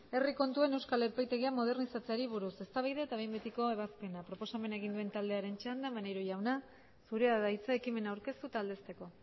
herri kontuen euskal epaitegia modernizatzeari buruz eztabaida eta behin betiko ebazpena proposamena egin duen taldearen txanda maneiro jauna zurea da hitza ekimena aurkeztu eta aldezteko